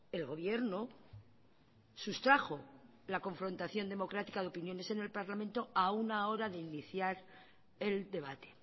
el gobierno sustrajo la confrontación democrática de opiniones en el parlamento a una hora de iniciar el debate